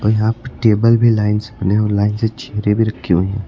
और यहाँ पे टेबल भी लाइन से लाइन से चेयरें भी रखी हुई हैं।